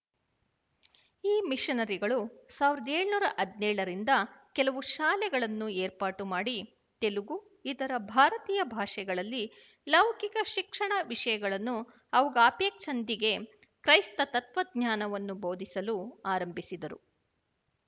ಈ ಮಿಶನರಿಗಳು ಸಾವಿರದ ಏಳುನೂರ ಹದಿನೇಳರಿಂದ ಕೆಲವು ಶಾಲೆಗಳನ್ನು ಏರ್ಪಾಟು ಮಾಡಿ ತೆಲುಗು ಇತರ ಭಾರತೀಯ ಭಾಷೆಗಳಲ್ಲಿ ಲೌಕಿಕ ಶಿಕ್ಷಣ ವಿಶಯಗಳನ್ನು ಅವುಗಪೇಕ್ಷಿಂದಿಗೆ ಕ್ರೈಸ್ತ ತತ್ತ್ವಜ್ಞಾನವನ್ನು ಬೋಧಿಸಲು ಆರಂಭಿಸಿದರು